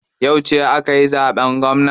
Yauce akayi zaɓen gwamna?